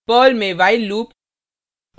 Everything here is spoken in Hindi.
पर्ल में while लूप